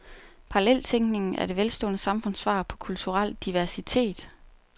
Paralleltænkningen er det velstående samfunds svar på kulturel diversitet.